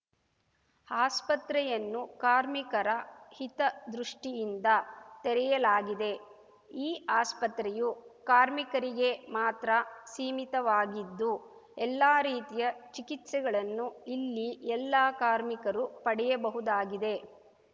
ಆಸ್ಪತ್ರೆಯನ್ನು ಕಾರ್ಮಿಕರ ಹಿತ ದೃಷ್ಟಿಯಿಂದ ತೆರೆಯಲಾಗಿದೆ ಈ ಆಸ್ಪತ್ರೆಯು ಕಾರ್ಮಿಕರಿಗೆ ಮಾತ್ರ ಸೀಮಿತವಾಗಿದ್ದು ಎಲ್ಲ ರೀತಿಯ ಚಿಕಿತ್ಸೆಗಳನ್ನು ಇಲ್ಲಿ ಎಲ್ಲಾ ಕಾರ್ಮಿಕರು ಪಡೆಯಬಹುದಾಗಿದೆ